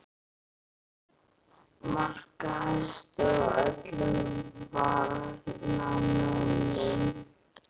Markahæstur af öllum varnarmönnum??